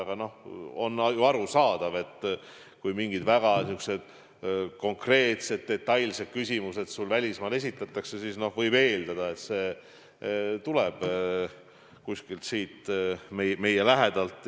Aga on ju arusaadav, et kui mingid väga konkreetsed, detailsed küsimused sulle välismaal esitatakse, siis võib eeldada, et see info tuleb kuskilt siit meie lähedalt.